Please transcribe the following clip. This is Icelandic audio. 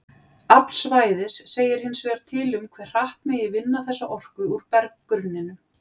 Afl svæðis segir hins vegar til um hve hratt megi vinna þessa orku úr berggrunninum.